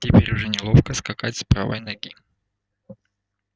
теперь уже неловко скакать с правой ноги